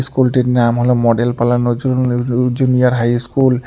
স্কুলটির নাম হল মডেল পালা নজরুল উ উ ল জ জুনিয়র হাই স্কুল ।